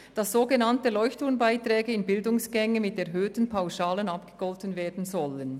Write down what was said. Artikel 94a regelt, dass sogenannte «Leuchtturm-Bbeiträge» an Bildungsgänge mit erhöhten Pauschalen abgegolten werden sollen.